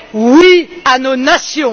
Oui à nos nations.